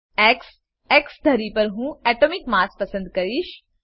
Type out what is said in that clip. X X ધરી પર હું એટોમિક માસ પસંદ કરીશ